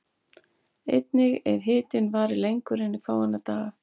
Einnig ef hitinn varir lengur en fáeina daga.